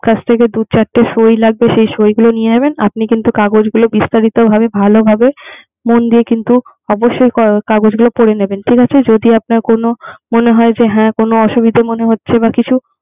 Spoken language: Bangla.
আপনার কাছ থেকে দু-চারটে সই লাগবে। সেই সই গুলো নিয়ে নেবে। আপনি কিন্ত কাগজগুলা বিস্তারিত ভাবে ভালো ভাবে মন দিয়ে কিন্তু অবশ্যই কাগজগুলো পড়ে নিবেন। যদি আপনার মনে হয় কোন হ্যাঁ অসুবিধা মনে হচ্ছে বা কিছু